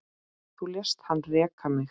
Þú lést hann reka mig